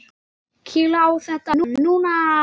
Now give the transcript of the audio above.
Kýla á þetta núna!